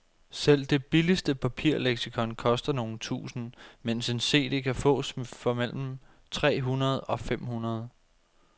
Selv det billigste papirleksikon koster nogle tusinde, mens en cd kan fås for mellem tre hundrede og fem hundrede.